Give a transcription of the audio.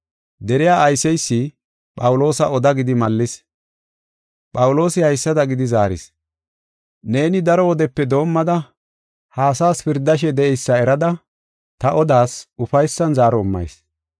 Deriya ayseysi Phawuloosa oda gidi mallis. Phawuloosi haysada gidi zaaris: “Neeni daro wodepe doomada, ha asaas pirdashe de7eysa erada ta odas ufaysan zaaro immayis.